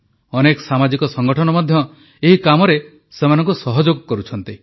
ଅନେକ ସାମାଜିକ ସଂଗଠନ ମଧ୍ୟ ଏହି କାମରେ ସେମାନଙ୍କୁ ସହଯୋଗ କରୁଛନ୍ତି